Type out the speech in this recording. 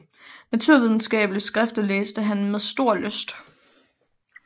Naturvidenskabelige skrifter læste han med stor lyst